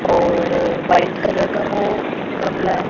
और white colour का वो गमला--